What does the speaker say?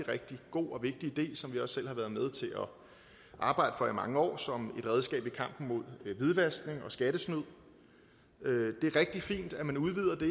rigtig god og vigtig del som vi også selv har været med til at arbejde for i mange år som et redskab i kampen mod hvidvaskning og skattesnyd det er rigtig fint at man udvider det